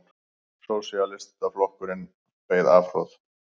Sósíalistaflokkurinn beið afhroð